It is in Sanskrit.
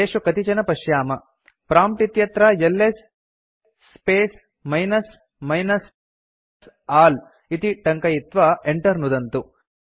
तेषु कतिचन पश्याम प्रॉम्प्ट् इत्यत्र LS space minus minus all इति टङ्कयित्वा enter नुदन्तु